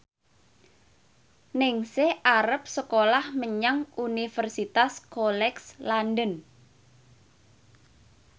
Ningsih arep sekolah menyang Universitas College London